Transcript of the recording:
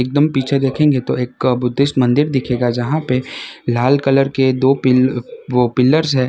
एकदम पीछे देखेंगे तो एक बुद्धिस्ट मंदिर दिखेगा जहां पे लाल कलर के दो पिल वो पिलर्स है।